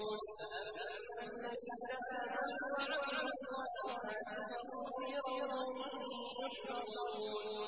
فَأَمَّا الَّذِينَ آمَنُوا وَعَمِلُوا الصَّالِحَاتِ فَهُمْ فِي رَوْضَةٍ يُحْبَرُونَ